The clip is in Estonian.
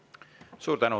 Suur tänu!